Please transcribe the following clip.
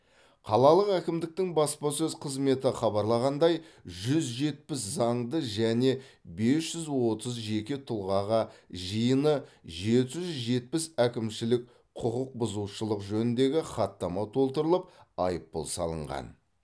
қалалық әкімдіктің баспасөз қызметі хабарлағандай жүз жетпіс заңды және бес жүз отыз жеке тұлғаға жиыны жеті жүз жетпіс әкімшілік құқықбұзушылық жөніндегі хаттама толтырылып айыппұл салынған